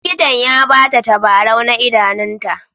Likitan ya ba ta tabarau na idanunta.